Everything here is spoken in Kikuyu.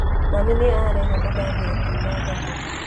Mami nĩ arehe mandathi akiuma thoko